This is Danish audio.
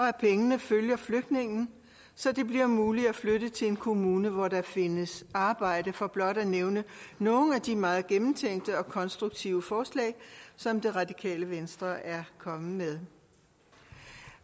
at pengene følger flygtningen så det bliver muligt at flytte til en kommune hvor der findes arbejde for blot at nævne nogle af de meget gennemtænkte og konstruktive forslag som det radikale venstre er kommet med